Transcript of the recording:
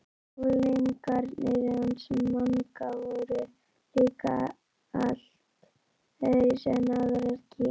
Unglingarnir hans Manga voru líka allt öðruvísi en aðrar kýr.